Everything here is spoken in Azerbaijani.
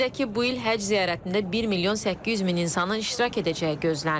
Qeyd edək ki, bu il Həcc ziyarətində 1 milyon 800 min insanın iştirak edəcəyi gözlənilir.